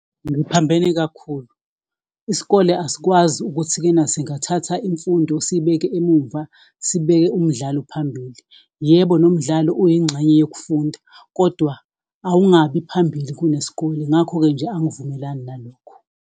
Ngiphambene kakhulu, isikole asikwazi ukuthi-ke na singathatha imfundo siyibeke emumva, sibeke umdlalo phambili. Yebo, nomdlalo uyingxenye yokufunda, kodwa akungabi phambili kunesiskole, ngakho-ke nje angivumelani nalokhu.